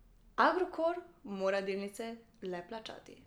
Agrokor mora delnice le plačati.